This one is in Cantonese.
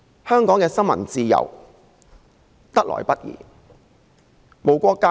香港的新聞自由得來不易。